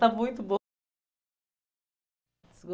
Está muito bom.